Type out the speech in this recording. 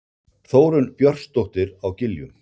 Þórunn Björnsdóttir á Giljum